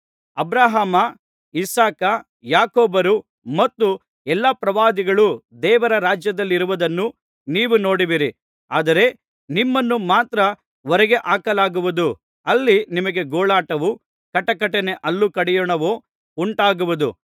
Abraham Isaac ಯಾಕೋಬರು ಮತ್ತು ಎಲ್ಲಾ ಪ್ರವಾದಿಗಳು ದೇವರ ರಾಜ್ಯದಲ್ಲಿರುವುದನ್ನೂ ನೀವು ನೋಡುವಿರಿ ಆದರೆ ನಿಮ್ಮನ್ನು ಮಾತ್ರ ಹೊರಗೆ ಹಾಕಲಾಗುವುದು ಅಲ್ಲಿ ನಿಮಗೆ ಗೋಳಾಟವೂ ಕಟಕಟನೆ ಹಲ್ಲು ಕಡಿಯೋಣವೂ ಉಂಟಾಗುವವು